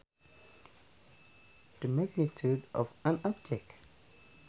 The magnitude of an object